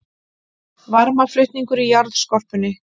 Varmaflutningur í jarðskorpunni